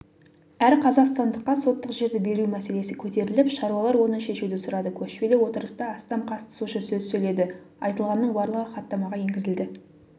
әр қазақстандыққа соттық жерді беру мәселесі көтеріліп шаруалар оны шешуді сұрады көшпелі отырыста астам қатысушы сөз сөйледі айтылғанның барлығы хаттамаға енгізілді